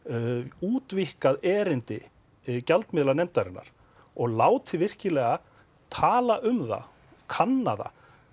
útvíkkað erindi og látið virkilega talað um það kanna það